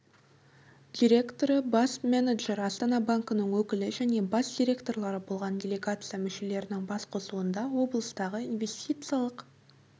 директоры бас менеджері астана банкінің өкілі және бас директорлары болған делегация мүшелерінің басқосуында облыстағы инвестициялық